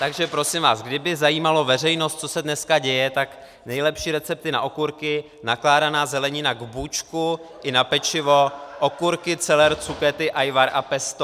Takže prosím vás, kdyby zajímalo veřejnost, co se dneska děje, tak nejlepší recepty na okurky, nakládaná zelenina k bůčku i na pečivo, okurky, celer, cukety, ajvar a pesto.